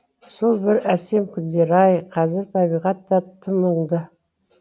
сол бір әсем күндер ай қазір табиғат та тым мұңды